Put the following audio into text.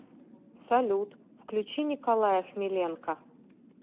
салют включи николая хмеленка